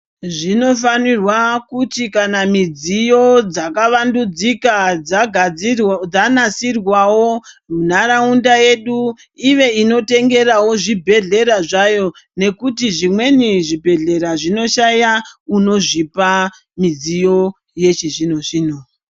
Zvinofanirwa kuti kana mudziyo dzakawandudzika dzagadzirwe dzanasirwawo ntaraunda yedu ive inototengerawo zvibhedhlera zvayo nekuti zvimweni zvibhedhlera zvinoshaya unozvipa midziyo yechizvino zvino.